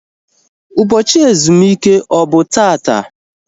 Ụbọchị ezumike ọ bụ taata?